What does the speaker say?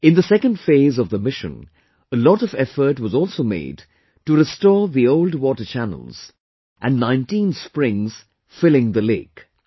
In the second phase of the mission, a lot of effort was also made to restore the old water channels and 19 springs filling the lake